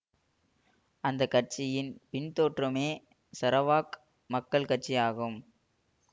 அந்த கட்சியின் பின் தோற்றமே சரவாக் மக்கள் கட்சி ஆகும்